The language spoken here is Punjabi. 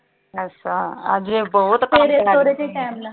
ਅੱਛਾ ਅੱਜ ਬਹੁਤ